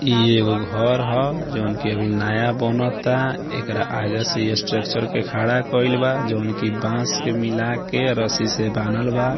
इ एगो घर हअ जोन की अभी नया बानाता एकरा आगे से इ स्ट्रक्चर के खड़ा कइल बा जोन की बांस के मिला के रस्सी से बांधल बा।